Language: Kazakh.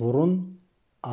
бұрын